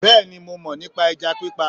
Bẹ́ẹ̀ni mo mọ̀ nípa ẹja pípa